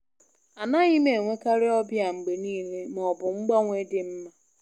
Anaghị m enwekarị ọbịa mgbe niile, ma ọ bụ mgbanwe dị mma.